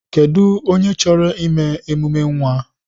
Kedụ onye chọrọ ime emume nwa?